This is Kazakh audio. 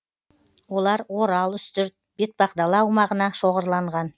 олар орал үстірт бетпақдала аумағына шоғырланған